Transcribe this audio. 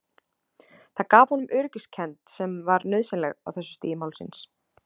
Það gaf honum öryggiskend sem var nauðsynleg á þessu stigi málsins.